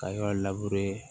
Ka yɔrɔ